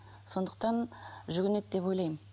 сондықтан жүгінеді деп ойлаймын